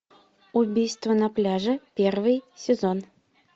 убийство на пляже первый сезон